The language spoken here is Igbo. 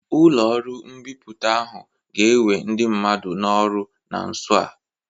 Ụlọ ọrụ mbipụta ahu ga-ewe ndị mmadụ n'ọrụ na nso a.